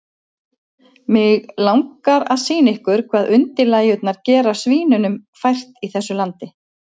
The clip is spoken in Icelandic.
Mig langar að sýna ykkur hvað undirlægjurnar gera svínunum fært í þessu landi.